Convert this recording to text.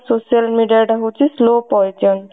social media ଟା ହଉଛି slow poison